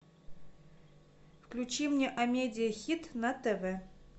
включи мне амедиа хит на тв